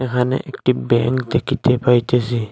এখানে একটি ব্যাঙ্ক দেখিতে পাইতেসি।